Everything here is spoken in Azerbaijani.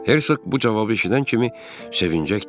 Hersoq bu cavabı eşidən kimi sevincək dedi.